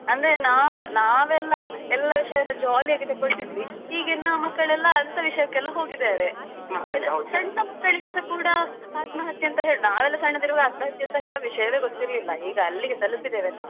ಅಂದ್ರೆ ನಾವ್~ ನಾವೆಲ್ಲಾ ಎಲ್ಲಾ ವಿಷಯನ್ನು jolly ಯಾಗಿ ತೆಕೊಳ್ತಿದ್ವಿ ಈಗಿನ ಮಕ್ಕಳೆಲ್ಲಾ ಅಂತಹ ವಿಷಯಕ್ಕೆಲ್ಲ ಹೋಗಿದ್ದಾರೆ ಸಣ್ಣ ಮಕ್ಕಳಿಗೆಸ ಕೂಡ ಆತ್ಮಹತ್ಯೆ ಅಂತ ಹೇಳ್ ನಾವೆಲ್ಲ ಸಣ್ಣದಿರುವಾಗ ಆತ್ಮಹತ್ಯೆ ಹೇಳುವ ವಿಷಯವೇ ಗೊತ್ತಿರ್ಲಿಲ್ಲ ಈಗ ಅಲ್ಲಿಗೆ ತಲುಪಿದ್ದೇವೆ ನಾವ್.